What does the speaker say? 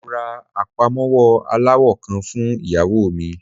Mo ra apamọwọ alawọ kan fun iyawo mi.